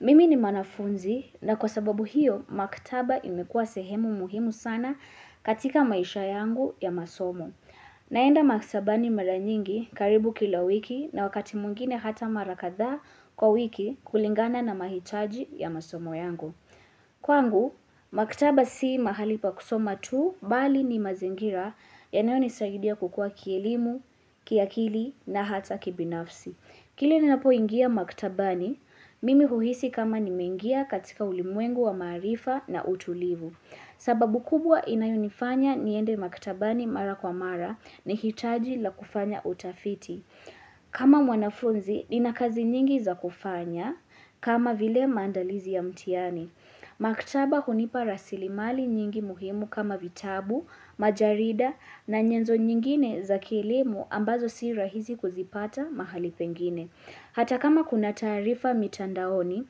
Mimi ni mwanafunzi na kwa sababu hiyo maktaba imekua sehemu muhimu sana katika maisha yangu ya masomo. Naenda maktabani mara nyingi karibu kila wiki na wakati mwingine hata mara kathaa kwa wiki kulingana na mahitaji ya masomo yangu. Kwangu, maktaba si mahali pa kusoma tu bali ni mazingira yanayonisaidia kukua kielimu, kiakili na hata kibinafsi. Kilaninapoingia maktabani, mimi huhisi kama nimeingia katika ulimwengu wa maarifa na utulivu. Sababu kubwa inayonifanya niende maktabani mara kwa mara ni hitaji la kufanya utafiti. Kama mwanafunzi, nina kazi nyingi za kufanya kama vile mandalizi ya mtihani. Maktaba hunipa rasilimali nyingi muhimu kama vitabu, majarida na nyenzo nyingine za kielimu ambazo si rahizi kuzipata mahali pengine Hata kama kuna taarifa mitandaoni,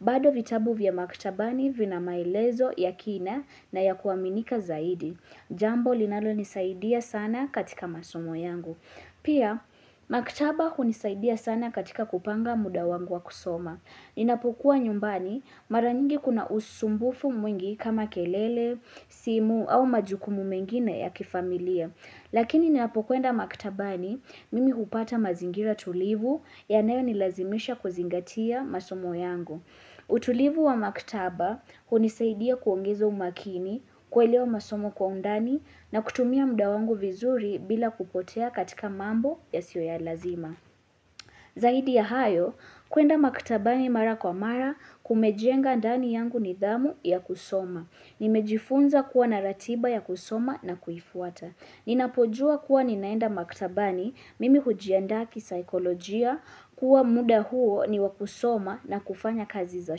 bado vitabu vya maktabani vina maelezo ya kina na ya kuaminika zaidi Jambo linalonisaidia sana katika masomo yangu Pia, maktaba hunisaidia sana katika kupanga muda wangu wa kusoma Ninapokuwa nyumbani mara nyingi kuna usumbufu mwingi kama kelele, simu au majukumu mengine ya kifamilia. Lakini ninapokwenda maktabani mimi hupata mazingira tulivu yanayonilazimisha kuzingatia masomo yangu. Utulivu wa maktaba hunisaidia kuongeza umakini kuelewa masomo kwa undani na kutumia muda wangu vizuri bila kupotea katika mambo yasio ya lazima. Zaidi ya hayo, kuenda maktabani mara kwa mara kumejenga ndani yangu nidhamu ya kusoma. Nimejifunza kuwa na ratiba ya kusoma na kuifuata. Ninapojua kuwa ninaenda maktabani mimi hujianda kisaikolojia kuwa muda huo ni wa kusoma na kufanya kazi za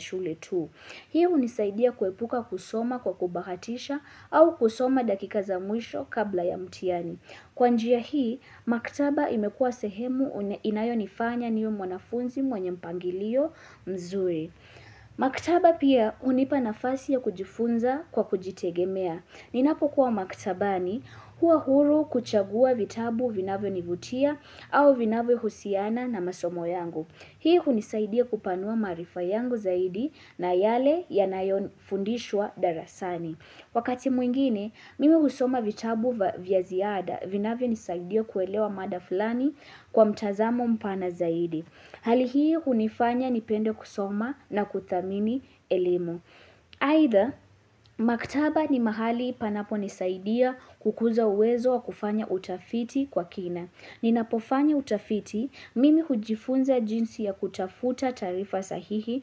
shule tu. Hii hunisaidia kuepuka kusoma kwa kubahatisha au kusoma dakika za mwisho kabla ya mtihani. Kwa njia hii, maktaba imekua sehemu inayonifanya niwe mwanafunzi mwenye mpangilio mzuri. Maktaba pia hunipa nafasi ya kujifunza kwa kujitegemea. Ninapokuwa maktabani hua huru kuchagua vitabu vinavyonivutia au vinavyohusiana na masomo yangu. Hii hunisaidia kupanua maarifa yangu zaidi na yale yanayofundishwa darasani Wakati mwingine, mimi husoma vitabu vya ziada Vinavyonisaidia kuelewa mada fulani kwa mtazamo mpana zaidi Hali hii hunifanya nipende kusoma na kuthamini elimu Aidha, maktaba ni mahali panaponisaidia kukuza uwezo wa kufanya utafiti kwa kina Ninapofanya utafiti, mimi hujifunza jinsi ya kutafuta taarifa sahihi,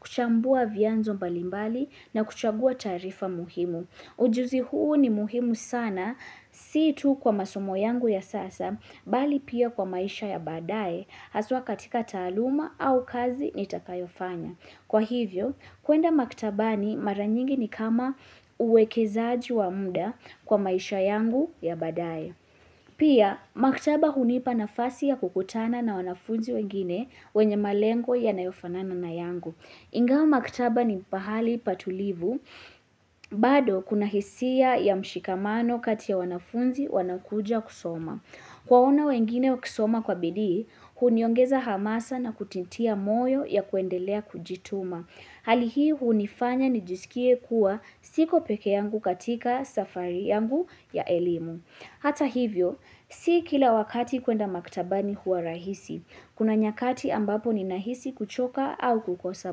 kuchambua vyanzo mbalimbali na kuchagua taarifa muhimu. Ujuzi huu ni muhimu sana, si tu kwa masomo yangu ya sasa, bali pia kwa maisha ya baadae, haswa katika taaluma au kazi nitakayofanya. Kwa hivyo, kwenda maktabani mara nyingi ni kama uwekezaji wa muda kwa maisha yangu ya baadae. Pia, maktaba hunipa nafasi ya kukutana na wanafunzi wengine wenye malengo yanayofanana na yangu. Ingawa maktaba ni pahali patulivu, bado kuna hisia ya mshikamano kati ya wanafunzi wanaokuja kusoma. Kuwaona wengine wakisoma kwa bidii, huniengeza hamasa na kujitia moyo ya kuendelea kujituma. Hali hii hunifanya nijisikie kuwa siko pekee yangu katika safari yangu ya elimu. Hata hivyo, si kila wakati kwenda maktabani huwa rahisi, kuna nyakati ambapo ninahisi kuchoka au kukosa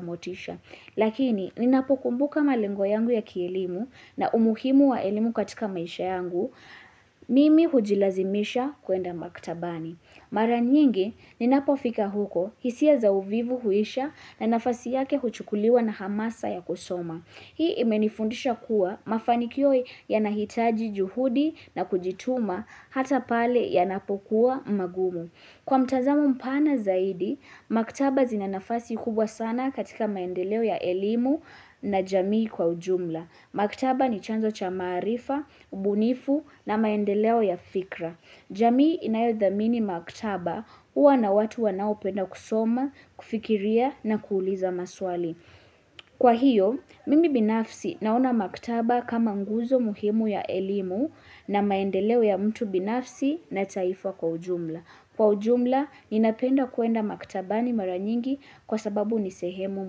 motisha. Lakini, ninapokumbuka malengo yangu ya kielimu na umuhimu wa elimu katika maisha yangu, mimi hujilazimisha kuenda maktabani. Mara nyingi, ninapofika huko, hisia za uvivu huisha na nafasi yake huchukuliwa na hamasa ya kusoma. Hii imenifundisha kuwa mafanikio yanahitaji juhudi na kujituma hata pale yanapokuwa magumu. Kwa mtazamo mpana zaidi, maktaba zina nafasi kubwa sana katika maendeleo ya elimu na jamii kwa ujumla. Maktaba ni chanzo cha maarifa, ubunifu na maendeleo ya fikra. Jamii inayodhamini maktaba huwa na watu wanaopenda kusoma, kufikiria na kuuliza maswali. Kwa hiyo, mimi binafsi naona maktaba kama nguzo muhimu ya elimu na maendeleo ya mtu binafsi na taifa kwa ujumla. Kwa ujumla, ninapenda kwenda maktabani mara nyingi kwa sababu ni sehemu muhimu.